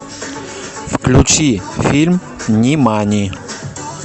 включи фильм нимани